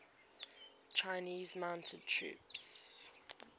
chinese mounted troops